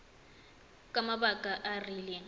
ka mabaka a a rileng